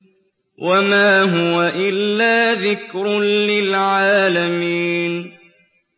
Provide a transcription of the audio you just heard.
وَمَا هُوَ إِلَّا ذِكْرٌ لِّلْعَالَمِينَ